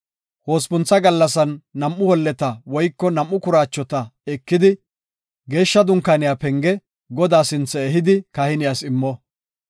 Hospuntha gallasan nam7u holleta woyko nam7u kuraachota ekidi, Geeshsha Dunkaaniya penge, Godaa sinthe ehidi kahiniyas immo.